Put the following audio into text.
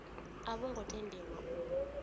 a vho ngo tendelwa u